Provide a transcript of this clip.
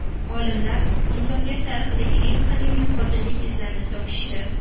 Olimlar insoniyat tarixidagi eng qadimiy qotillik izlarini topishdi.